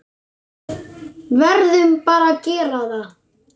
Verðum bara að gera það.